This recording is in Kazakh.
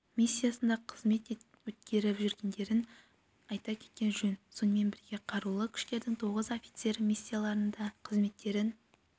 миссиясында қызмет өткеріп жүргендерін айта кеткен жөн сонымен бірге қарулы күштердің тоғыз офицері миссияларында қызметтерін